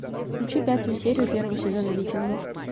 включи пятую серию первого сезона викингов